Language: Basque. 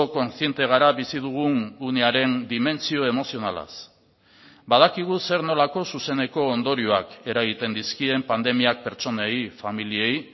kontziente gara bizi dugun unearen dimentsio emozionalaz badakigu zer nolako zuzeneko ondorioak eragiten dizkien pandemiak pertsonei familiei